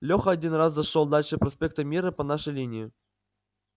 леха один раз зашёл дальше проспекта мира по нашей линии